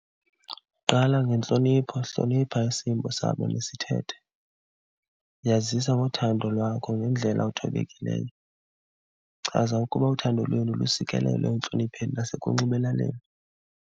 Qala ngentlonipho, hlonipha isimbo sabo nesithethe. Yazisa ngothando lwakho ngendlela ethobekileyo. Chaza ukuba uthando lwenu lusikelelwe entlonipheni nasekunxibelaneni.